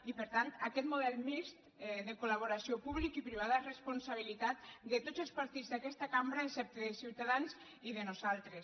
i per tant aquest model mixt de collaboració pública i privada és responsabilitat de tots els partits d’aquesta cambra excepte de ciutadans i nostra